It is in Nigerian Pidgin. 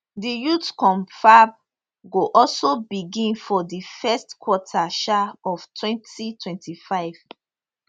di youth confab go also begin for di first quarter um of 2025